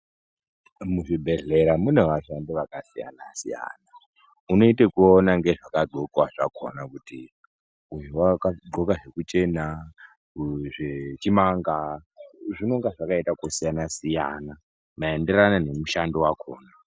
Muzvibhedhlera mune vashandi vakasiyana-siyana, unoite kuona ngezvakadhlokwa kuti uyu vakadhloka zvekuchena uyu zvechimanga. Zvinonga zvakaita kusiyana-siyana, maenderane nemushando vakona.